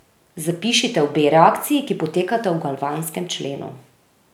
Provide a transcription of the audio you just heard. Zapišite obe reakciji, ki potekata v galvanskem členu.